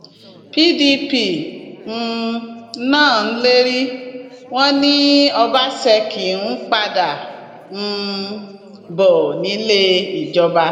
pdp um náà ń lérí wọn ni ọbaṣẹkí ń padà um bọ nílé ìjọba